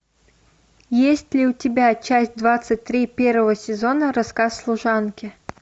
есть ли у тебя часть двадцать три первого сезона рассказ служанки